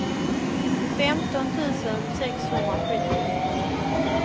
femton tusen sexhundrasjuttio